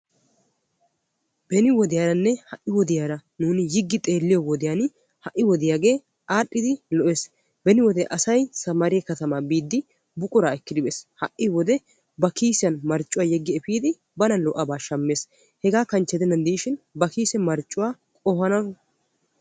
Beni wodiyaara ha'i wodiyaara nuuni yiggi xeelliyoo wodiyaan ha'i wodiyaagaa aadhdhidi lo"ees. beni wode asay sammaariyaa katamaa biidi buquraa ekkidi efees. ha'i wode ba kiisiyaan marccuwaa yeggi epiidi bana lo"abaa shammees. hegaa kanchche gidennan diishshin ba kiise marccuwaa qohana